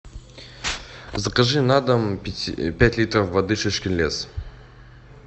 закажи на дом пять литров воды шишкин лес